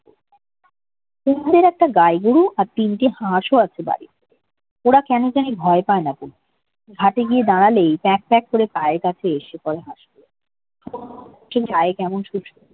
দুধারে একটা গাই গরু ও তিনটি হাঁসও আছে বাড়িতে ওরা কেন জানি ভয় পায় না খুব ঘাটে গিয়ে দাঁড়ালেই প্যাক প্যাক করে পায়ের কাছে এসে দাঁড়ায় গায়ে কেমন